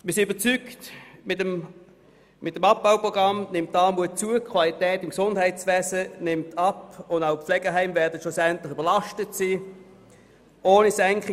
Wir sind überzeugt, dass mit dem Abbauprogramm die Armut zunimmt, die Qualität im Gesundheitswesen abnimmt und dass auch die Pflegeheime schlussendlich überlastet sein werden.